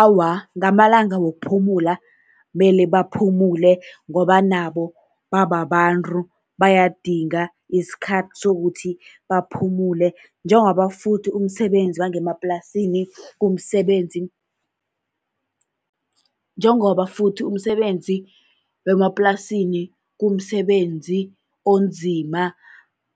Awa, ngamalanga wokuphumula kumele baphumule, ngoba nabo bababantu bayadinga isikhathi sokuthi baphumule, njengoba futhi umsebenzi wangemaplasini kumsebenzi. Njengoba futhi umsebenzi wemaplasini kumsebenzi onzima,